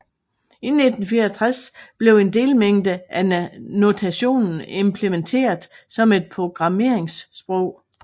I 1964 blev en delmængde af notationen implementeret som et programmeringssprog